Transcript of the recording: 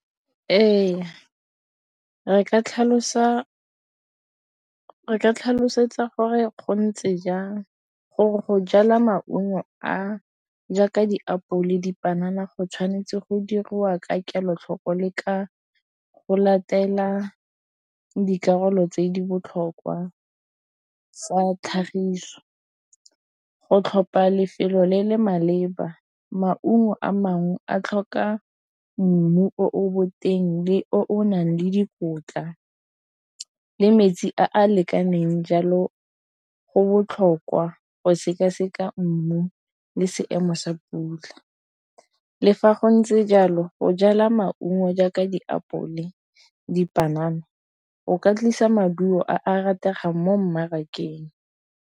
Ee, re ka tlhalosa re ka tlhalosetsa gore gontse jang gore go jala maungo a jaaka diapole dipanana go tshwanetse go dirwa ka kelotlhoko le ka go latela dikarolo tse di botlhokwa tsa tlhagiso go tlhopha lefelo le le maleba. Maungo a mangwe a tlhoka mmu o bo teng le o nang le dikotla le metsi a a lekaneng jalo go botlhokwa go sekaseka mmu le seemo sa pula. Le fa go ntse jalo go jala maungo jaaka diapole, dipanana go ka tlisa maduo a rategang mo mmarakeng.